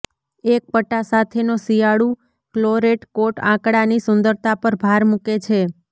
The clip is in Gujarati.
એક પટ્ટા સાથેનો શિયાળુ ક્લોરેટ કોટ આંકડાની સુંદરતા પર ભાર મૂકે છે